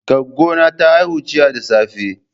Goggo na ta haihu jiya da safe.